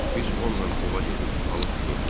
Biz onunla ova gedir, balıq tuturduq.